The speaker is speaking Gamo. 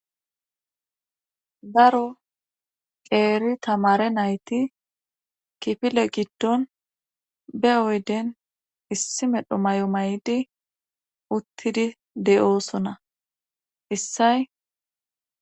daro qeeri tamare nayti kifile giddon be oyden issi medho may7o may7di uttidi de7oosona issay